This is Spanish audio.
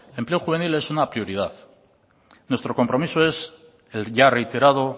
el empleo juvenil es una prioridad nuestro compromiso es el ya reiterado